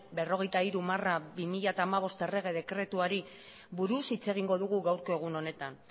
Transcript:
berrogeita hiru barra bi mila hamabost errege dekretuari buruz hitz egingo dugu gaurko honetan